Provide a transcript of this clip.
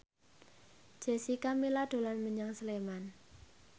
Jessica Milla dolan menyang Sleman